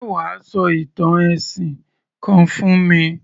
Ṣé wà á sọ ìtàn ẹ̀sìn kan fún mi?